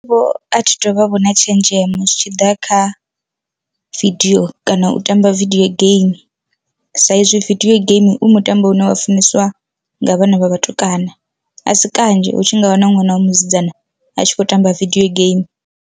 Vho athi tu vha vho na tshenzhemo zwitshiḓa kha vidio kana u tamba vidio game saizwi vidio game u mutambo une wa funeswa nga vhana vha vhatukana, a si kanzhi hu tshi nga wana ṅwana wa musidzana a tshi khou tamba vidio game.